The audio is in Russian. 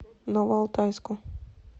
новоалтайску